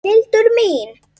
Hildur mín!